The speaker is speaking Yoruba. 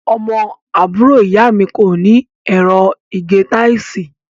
Ọmọ àbúrò ìyá mi kó ní ẹ̀rọ ìgé táìsì.